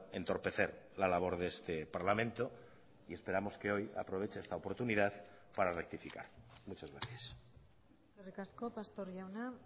entorpecer la labor de este parlamento y esperamos que hoy aproveche esta oportunidad para rectificar muchas gracias eskerrik asko pastor jauna